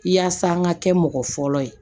Yaasa an ka kɛ mɔgɔ fɔlɔ ye